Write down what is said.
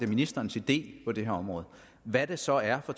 ministerens idé på det her område hvad det så er for